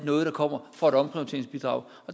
noget der kommer fra et omprioriteringsbidrag